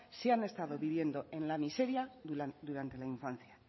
si han estado viviendo en la miseria durante la infancia